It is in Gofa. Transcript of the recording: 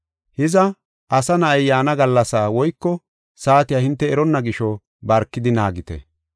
“Hiza, Asa Na7ay yaana gallasaa woyko saatiya hinte eronna gisho barkidi naagite.